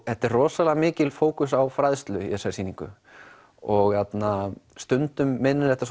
þetta er rosalega mikill fókus á fræðslu í þessari sýningu og stundum minnir þetta